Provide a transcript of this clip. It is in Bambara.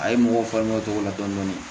A ye mɔgɔw faamuya o cogo la dɔndɔni